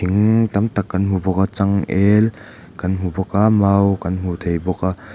in tam tak kan hmu bawk a changel kan hmu bawk mau kan hmu thei bawk a.